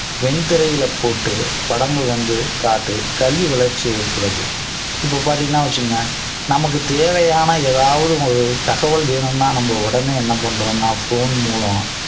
when திரையில போட்டு படங்கள் வந்து காட்டி கல்வி வளர்ச்சி ஏற்படுது இப்ப பாத்தீங்கன்னா வச்சுகோங்க நமக்கு தேவையான எதாவது ஒரு தகவல் வேணும்னா நம்ம உடனே என்ன பண்றோம்னா phone மூலம்